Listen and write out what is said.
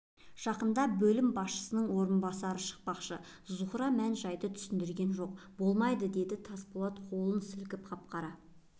жақында бөлім бастығының орынбасары шықпақшы зухра мән-жайды түсіндірген жоқ болмайды деді тасболат қолын сілкіп қап-қара